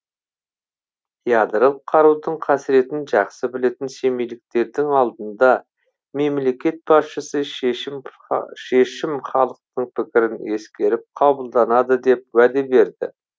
ядролық қарудың қасіретін жақсы білетін семейліктердің алдында мемлекет басшысы шешім шешім халықтың пікірін ескеріп қабылданады деп уәде берді